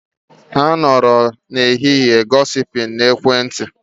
Ha nọrọ n'ehihie gosiping na ekwentị